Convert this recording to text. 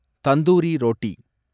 tandoori roti